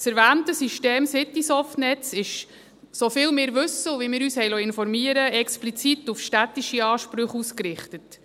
Das erwähnte System Citysoftnetz ist – so viel wir wissen und wie wir uns haben informieren lassen – explizit auf städtische Ansprüche ausgerichtet.